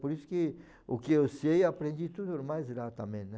Por isso que o que eu sei, aprendi tudo mais lá também, né.